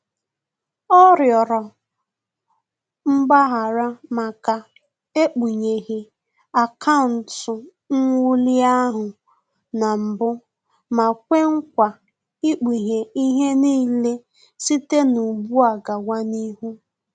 Ọ rịọrọ mgbaghara maka ekpugheghi akaụntụ nwuli ahụ na mbụ ma kwe nkwa ikpughe ihe n'ile site ụgbụ a gawa n'ihu